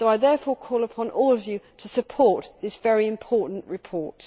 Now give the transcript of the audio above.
So I therefore call on all of you to support this very important report.